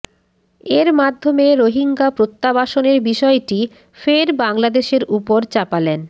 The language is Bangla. এর মাধ্যমে রোহিঙ্গা প্রত্যাবাসনের বিষয়টি ফের বাংলাদেশের উপর চাপালেন